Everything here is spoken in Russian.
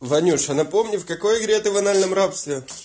ванюша напомни в какой игре ты в анальном рабстве